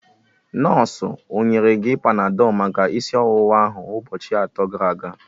Nọọsụ onyere gị Panadol maka isi ọwụwa ahụ ụbọchị atọ gara aga?